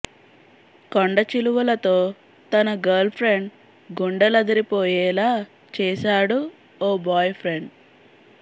కొండచిలువలతో తన girl friend గుండెలదిరిపోయేలా చేశాడు ఓ బాయ్ ఫ్రెండ్